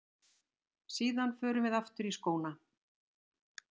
Síðan förum við aftur í skóna.